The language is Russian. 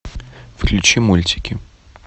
включи мультики